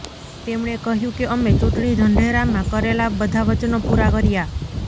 તેમણે કહ્યુ કે અમે ચૂંટણી ઢંઢેરામાં કરેલા બધા વચનો પૂરા કર્યા